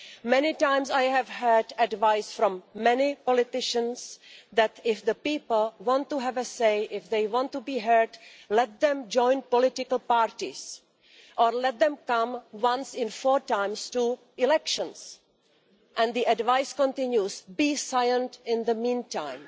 Many times I have received advice from many politicians saying that if the people want to have a say, if they want to be heard, let them join political parties' or let them come once in four times to elections', and the advice continues be silent in the meantime'.